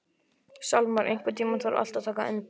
Salmar, einhvern tímann þarf allt að taka enda.